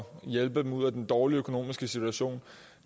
hjælpe dem ud af den dårlige økonomiske situation